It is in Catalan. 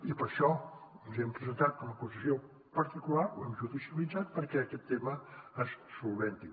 i per això ens hi hem presentat com a acusació particular ho hem judicialitzat perquè aquest tema se solucioni